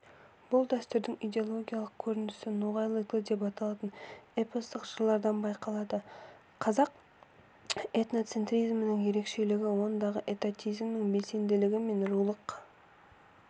бұл дәстүрдің идеологиялық көрінісі ноғайлы циклі деп аталатын эпостық жырлардан байқалады қазақ этноцентризмінің ерекшелігі ондағы этатизмнің бәсеңділігі мен рулық